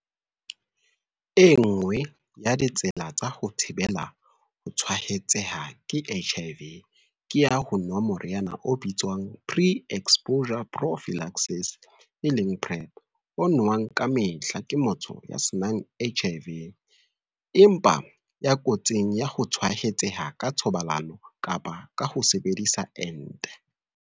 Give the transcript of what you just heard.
E nngwe ya ditsela tsa ho thibela ho tshwaetseha ke HIV ke ya ho nwa moriana o bitswang Pre-Exposure Prophylaxis, PrEP, o nowang kamehla ke motho ya se nang HIV, empa ya kotsing ya ho tshwaetseha ka thobalano kapa ka ho sebedisa ente.